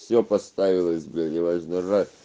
все поставилось блять неважно ра